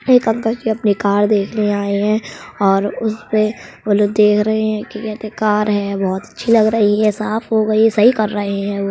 एक अंकल जी अपनी कार देखने आए है और उस पे वो लोग देख रहे है। क्या कहते है कार है। बहुत अच्छी लग रही है। साफ़ हो गयी है। सही कर रहे है वो।